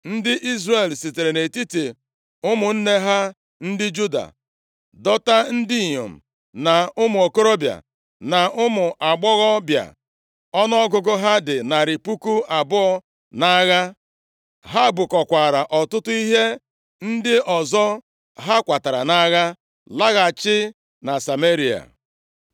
Ndị Izrel sitere nʼetiti ụmụnne ha ndị Juda dọta ndị inyom, na ụmụ okorobịa, na ụmụ agbọghọbịa ọnụọgụgụ ha dị narị puku abụọ nʼagha. Ha bukọkwaara ọtụtụ ihe ndị ọzọ ha kwatara nʼagha laghachi na Sameria.